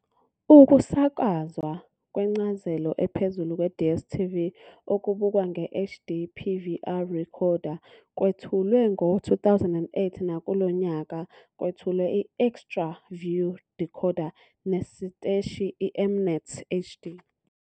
Ukusakazwa kwencazelo ephezulu kweDStv, okubukwa nge-HD PVR decoder kwethulwe ngo-2008. Nakulo nyaka kwethulwe iXtraView Decoder nesiteshi iM-NET HD.